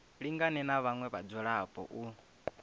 lingane na vhaṅwe vhadzulapo u